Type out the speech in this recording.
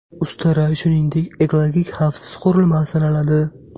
Ustara, shuningdek, ekologik xavfsiz qurilma sanaladi.